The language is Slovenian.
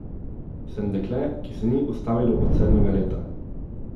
Sem dekle, ki se ni ustavilo od sedmega leta.